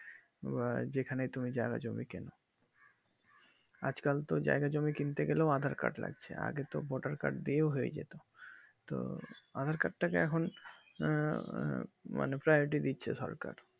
বা যেখানে তুমি জাগা জমি কিনো আজ কাল তো জাগা জমি কিনতে গেলে aadhar card লাগছে আগে তো vote আর card দিয়ে হয়ে যেতো তো aadhar card তা যে এখন আঃ মানে দিচ্ছে সরকার